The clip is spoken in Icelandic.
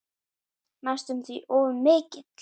Næstum því of mikill.